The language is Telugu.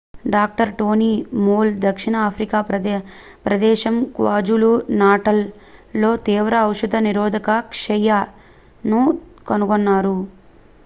డాక్టర్. టోనీ మోల్ దక్షిణ ఆఫ్రికా ప్రదేశం క్వాజులు-నాటల్ లో తీవ్ర ఔషధ నిరోధక క్షయ xdr-tbను కనుగొన్నారు